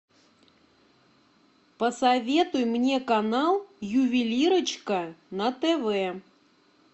посоветуй мне канал ювелирочка на тв